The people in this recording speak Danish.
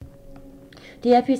DR P3